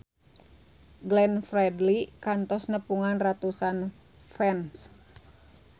Glenn Fredly kantos nepungan ratusan fans